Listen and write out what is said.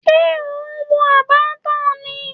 Ṣé ò ń wo Abattoir ni?